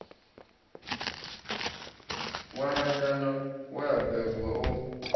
ṅwananyana we a bebwa o